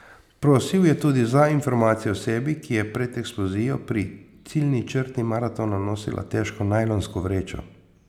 Prosil je tudi za informacije o osebi, ki je pred eksplozijo pri ciljni črti maratona nosila težko najlonsko vrečo.